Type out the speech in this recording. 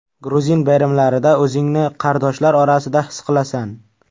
Gruzin bayramlarida o‘zingni qardoshlar orasida his qilasan.